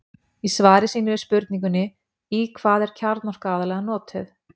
Í svari sínu við spurningunni Í hvað er kjarnorka aðallega notuð?